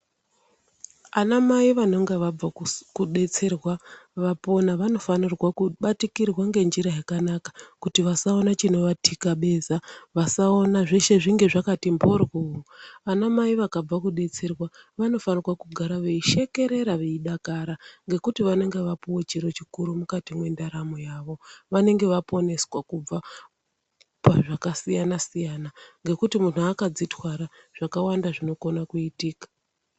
Ana mai vanonga vabva kudetserwa vapona, vanofanirwa kubatikirwa ngenjira yakanaka kuti vasaona chinovathikabeza, vasaona zveshe zvinge zvakati mbhoryo. Ana mai vakabva kudetserwa vanofanirwa kugara veishekerera veidakara ngekuti vanenge vapuwa chiro chikuru mukati mwendaramo yavo, vanenge vaponeswa kubva pazvakasiyana-siyana, ngekuti munthu akadzitwara zvakawanda zvinokona kuitika.